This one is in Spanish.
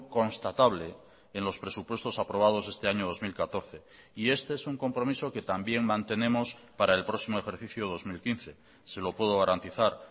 constatable en los presupuestos aprobados este año dos mil catorce y este es un compromiso que también mantenemos para el próximo ejercicio dos mil quince se lo puedo garantizar